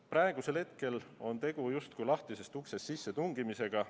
Praegusel hetkel on tegu justkui lahtisest uksest sissetungimisega.